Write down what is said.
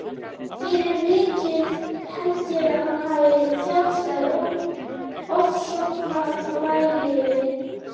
Fyrir vikið held ég að hann hafi þjáðst af ofsóknarbrjálæði.